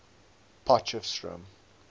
potchefstroom